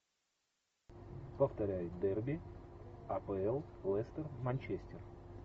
повторяй дерби апл лестер манчестер